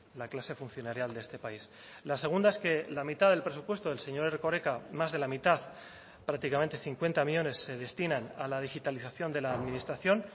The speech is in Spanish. la clase funcionarial de este país la segunda es que la mitad del presupuesto del señor erkoreka más de la mitad prácticamente cincuenta millónes se destinan a la digitalización de la administración